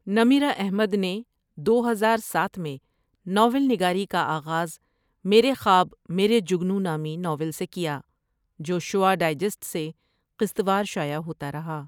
نمرہ احمدنے دو ہزار ساتھ میں ناول نگاری کا آغاز میرے خواب میرے جگنو نامی ناول سے کیا جو شعاع ڈائجسٹ سے قسط وار شائع ہوتا رہا ۔